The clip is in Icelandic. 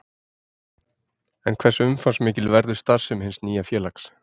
En hversu umfangsmikil verður starfssemi hins nýja félags?